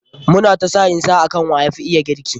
Mu na ta sa'in sa akan wa yafi iya girki.